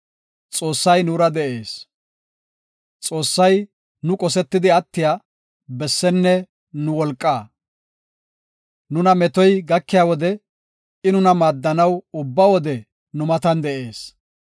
Xoossay nu qosetidi attiya, bessenne nu wolqaa. Nuna metoy gakiya wode, I nuna maaddanaw ubba wode nu matan de7ees.